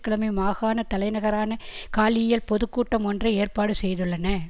கிழமை மாகாண தலைநகரான காலியில் பொது கூட்டமொன்றை ஏற்பாடு செய்துள்ளன